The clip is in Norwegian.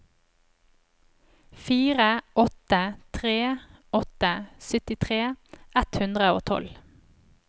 fire åtte tre åtte syttitre ett hundre og tolv